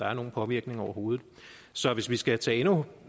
har nogen påvirkning overhovedet så hvis vi skal tage endnu